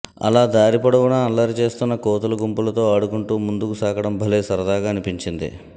అలా దారిపొడవునా అల్లరి చేస్తోన్న కోతుల గుంపులతో ఆడుకుంటూ ముందుకు సాగడం భలే సరదాగా అనిపించింది